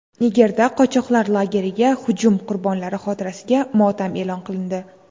Nigerda qochoqlar lageriga hujum qurbonlari xotirasiga motam e’lon qilindi.